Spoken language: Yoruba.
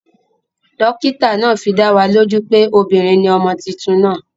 Dókítà naa fidáwo lójú pé obìnrin ni ọmọ tuntun naa